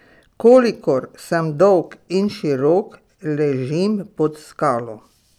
Kolikor sem dolg in širok ležim pod skalo.